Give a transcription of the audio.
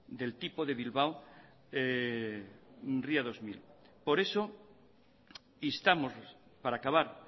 del tipo de bilbao ría dos mil por eso instamos para acabar